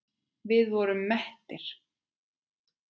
Við vorum mettir.